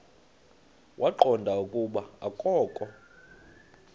waqonda ukuba akokho